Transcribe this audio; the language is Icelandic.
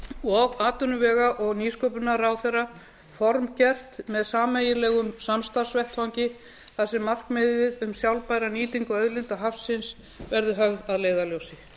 og atvinnuvega og nýsköpunarráðherra formgert með sameiginlegum samstarfsvettvangi þar sem markmiðið um sjálfbæra nýtingu auðlinda hafsins verði höfð að leiðarljósi